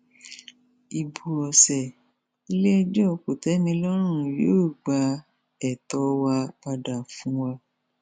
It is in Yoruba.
ibo ọsẹ iléẹjọ kòtẹmílọrùn yóò gba ẹtọ wa padà fún wa